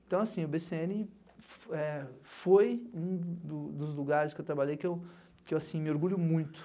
Então, assim, o bê cê ene eh, foi um do dos lugares que eu trabalhei que eu que eu, assim, me orgulho muito.